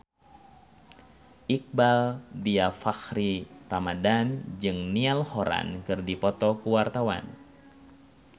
Iqbaal Dhiafakhri Ramadhan jeung Niall Horran keur dipoto ku wartawan